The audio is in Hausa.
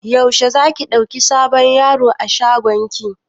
Yaushe za ki ɗauki sabon yaro a shagon ki?